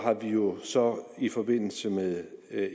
jo så i forbindelse med